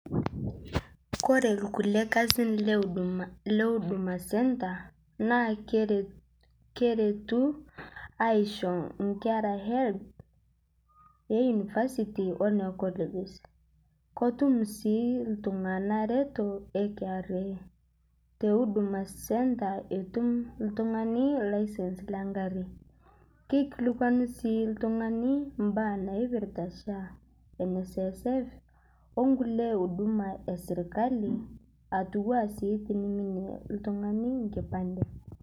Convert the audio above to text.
Ore irkulie kasin le huduma centre na keretu aisho nkera health e university one colleges ketuk si ltunganak netum kra huduma centre etum oltungani license e ngari kekilikwanu si oltungani mbaa naipirta sha nssf o kulie huduma e serkali nepuo aasie tenening oltungani enkipande.